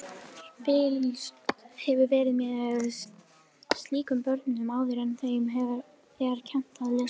Fylgst hefur verið með slíkum börnum áður en þeim er kennt að lesa.